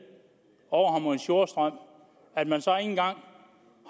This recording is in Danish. overharmonisk jordstrøm at man så ikke engang